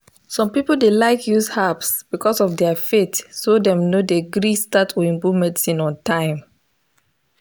some people dey like use herbs because of their faith so dem no dey gree start oyibo medicine on time.